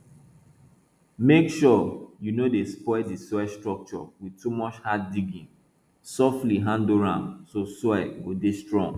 make sure you no dey spoil di soil structure with too much hard digging softly handle am so soil go dey strong